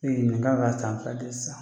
Ee nin kan ka k'a san fila de ye sisan.